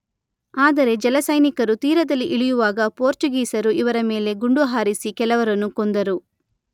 ಆದರೆ ಜಲಸೈನಿಕರು ತೀರದಲ್ಲಿ ಇಳಿಯುವಾಗ ಪೋರ್ಚುಗೀಸರು ಇವರ ಮೇಲೆ ಗುಂಡುಹಾರಿಸಿ ಕೆಲವರನ್ನು ಕೊಂದರು.